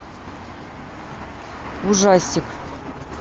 ужастик